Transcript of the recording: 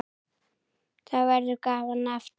Þá verður gaman aftur.